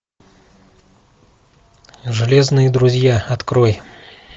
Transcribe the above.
железные друзья открой